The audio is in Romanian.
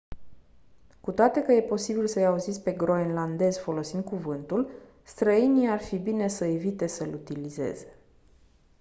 cu toate că e posibil să-i auziți pe groenlandezii folosind cuvântul străinii ar fi bine să evite să-l utilizeze